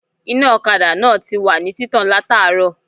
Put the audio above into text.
Iná òkadà náà tiwà ní títàn látàárò